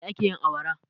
Da me ake yin awara?